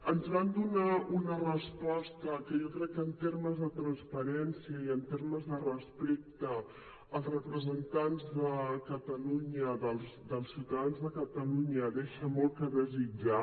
ens van donar una resposta que jo crec que en termes de transparència i en termes de respecte als representants de catalunya dels ciutadans de catalunya deixa molt a desitjar